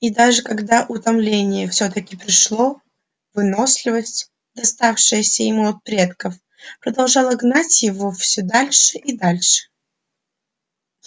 и даже когда утомление всё-таки пришло выносливость доставшееся ему от предков продолжала гнать его всё дальше и дальше